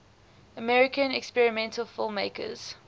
american experimental filmmakers